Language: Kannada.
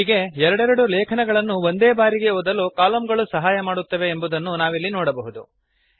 ಹೀಗೆ ಎರಡೆರಡು ಲೇಖನಗಳನ್ನು ಒಂದೇ ಬಾರಿ ಓದಲು ಕಲಮ್ ಗಳು ಸಹಾಯ ಮಾಡುತ್ತವೆ ಎಂಬುದನ್ನು ನಾವಿಲ್ಲಿ ನೋಡಬಹುದು